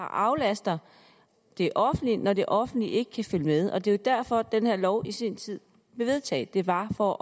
aflaster det offentlige når det offentlige ikke kan følge med og det var jo derfor den her lov i sin tid blev vedtaget det var for